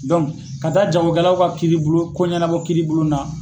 ka taa jagokɛlaw ka kiiribulon ko ɲɛnabɔ kiiribulon na